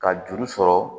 Ka juru sɔrɔ